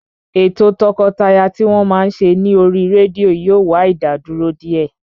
Ètò o tọkọtaya tí wọ́n máa ń ṣe ní oríi rédíò yóò wá ìdádúró díẹ̀